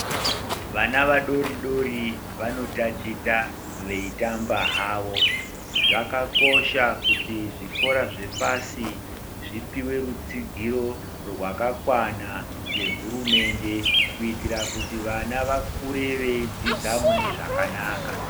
Vana vadoridori vanotaticha veitamba havo zvakakosha kuti zvikora zvepasi zvipiwe rutsigiro rwakakwana ngehurumende kuitira kuti vana vakure veidzidza mune zvakanaka.